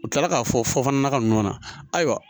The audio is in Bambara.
U kilala k'a fɔ fɔ nakɔ ninnu na ayiwa